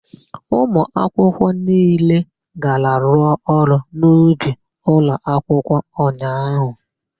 Ụmụakwụkwọ niile gara rụọ ọrụ n'ubi ụlọakwụkwọ ụnyaahụ.